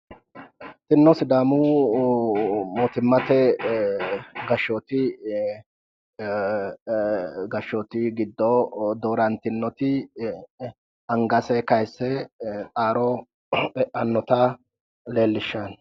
kunino sidaamu mootimmate gashhooti giddo doorantino angase kayiisse xaaro e'annota leellishshanno